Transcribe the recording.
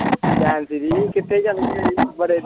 Gem ਸ਼ੀ੍ ਕਿੱਥੇ ਚੱਲ ਗਏ ਸੀ ਬੜੇ।